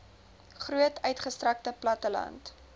groot uitgestrekte platteland